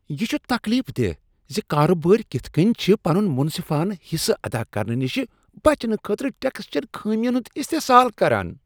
یہ چھ تکلیف دہ ز کارٕبٲرۍ کتھہٕ کٔنۍ چھِ پنن منصفانہٕ حصہٕ ادا کرنہٕ نشہ بچنہٕ خٲطرٕ ٹیکس چین خامین ہند استحصال کران۔